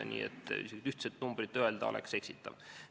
Nii et ühtset numbrit öelda oleks eksitav.